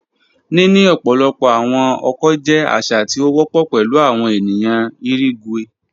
Nini ọpọlọpọ awọn ọkọ jẹ aṣa ti o wọpọ pẹlu awọn eniyan irigwe.